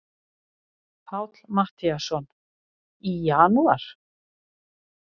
Páll Matthíasson: Í janúar?